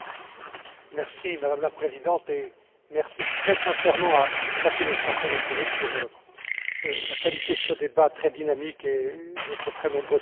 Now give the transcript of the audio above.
Madame la Présidente, merci très sincèrement à chacune et chacun d'entre vous pour la qualité de ce débat très dynamique et votre très nombreuse participation.